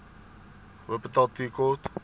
wupperthal tea court